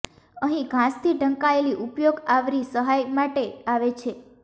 અહીં ઘાસથી ઢંકાયેલી ઉપયોગ આવરી સહાય માટે આવે છે